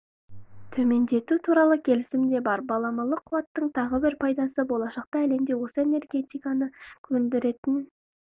төмендету туралы келісім де бар баламалы қуаттың тағы бір пайдасы болашақта әлемде осы энергетиканы өндіретін